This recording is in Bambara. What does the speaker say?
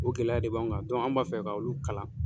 O gɛlɛya de b'anw kan an b'a fɛ ka olu kalan.